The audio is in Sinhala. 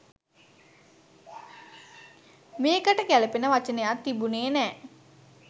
මේකට ගැළපෙන වචනයක් තිබුණේ නෑ.